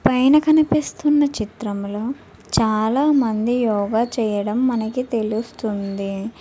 పైన కనిపిస్తున్న చిత్రంలో చాలామంది యోగ చేయడం మనకి తెలుస్తుంది.